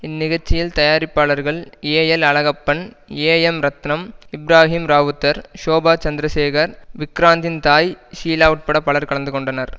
இந்நிகழ்ச்சியில் தயாரிப்பாளர்கள் A L Alagappan A M Ratnam Ibrahim Rowther Shoba Chandrasekhar விக்ராந்தின் தாய் ஷீலா உட்பட பலர் கலந்துகொண்டனர்